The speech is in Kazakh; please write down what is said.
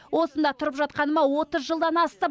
осында тұрып жатқаныма отыз жылдан асты